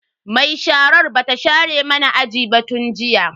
Mai sharar bata share mana aji ba tun jiya.